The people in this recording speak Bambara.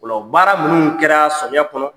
O la o baara minnu kɛra samiya kɔnɔ,